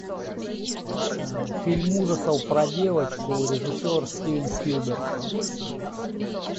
фильм ужасов про девочку режиссер стивен спилберг